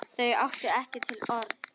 Þau áttu ekki til orð.